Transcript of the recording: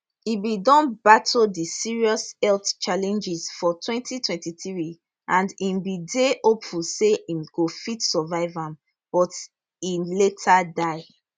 e bin don battle di serious health challenges for 2023 and im bin dey hopeful say im go fit survive am but e later die